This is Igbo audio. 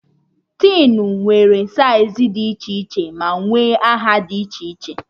Tin nwe saịz dị iche iche ma nwere aha dị iche iche